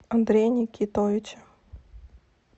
андрея никитовича